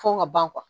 Fo ka ban